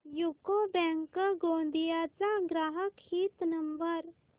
UCO bank Gondia चा ग्राहक हित नंबर